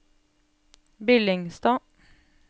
Billingstad